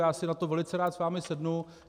Já si na to velice rád s vámi sednu.